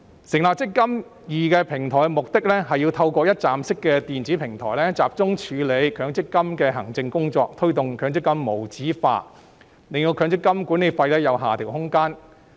成立"積金易"平台的目的，是要透過一站式電子平台集中處理強積金的行政工作，推動強積金無紙化，令強積金管理費有下調空間。